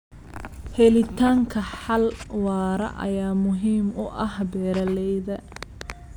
Helitaanka xal waara ayaa muhiim u ah beeralayda.